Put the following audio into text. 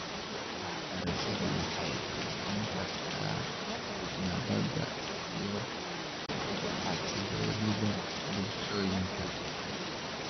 Waxbarashadu waxay kobcin kartaa nabadda iyo xasilloonida bulshooyinka.